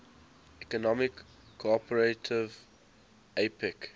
economic cooperation apec